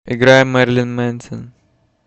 играй мэрлин мэнсон